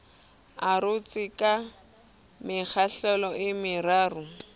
arotswe ka mekgahlelo e meraro